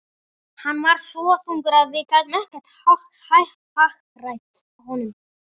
Hann var svo þungur að við gátum ekkert hagrætt honum.